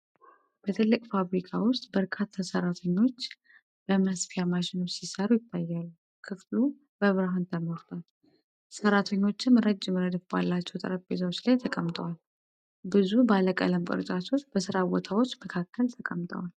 በትልቅ ፋብሪካ ውስጥ በርካታ ሠራተኞች መስፋፊያ ማሽኖችን ሲሠሩ ይታያሉ። ክፍሉ በብርሃን ተሞልቷል፤ ሠራተኞቹም ረጅም ረድፍ ባላቸው ጠረጴዛዎች ላይ ተቀምጠዋል። ብዙ ባለቀለም ቅርጫቶች በሥራ ቦታዎች መካከል ተቀምጠዋል።